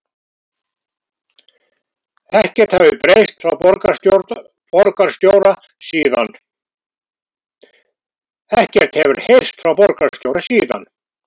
Ekkert hafi heyrst frá borgarstjóra síðan